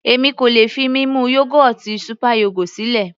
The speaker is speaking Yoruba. Èmi kò lè fi mímu yógọ́ọ̀tì super yogo sílẹ̀.